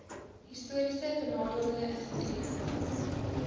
historiese benadeelde individue